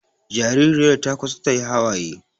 Jaririyar ta kusa ta yi hawaye